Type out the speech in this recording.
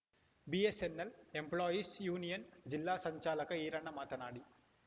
BSNL employees union ಜಿಲ್ಲಾ ಸಂಚಾಲಕ ಈರಣ್ಣ ಮಾತನಾಡಿ